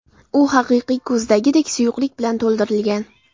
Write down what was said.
U haqiqiy ko‘zdagidek suyuqlik bilan to‘ldirilgan.